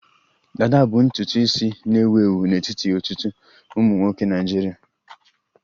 Dada bụ ntutu isi na-ewu ewu n'etiti ọtụtụ ụmụ nwoke Naịjirịa